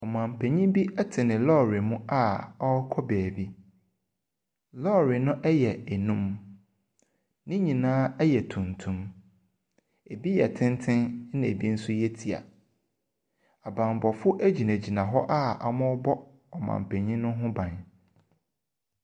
Ɔmanpanin bi te lɔɔre mu a ɔrekɔ baabi. Lɔɔre no yɛ num. Ne nyinaa yɛ tuntum. Ebi yɛ tenten na ebi nso yɛ tia. Abammɔfoɔ gyina a wɔrebɔ ɔmanpanin no ban.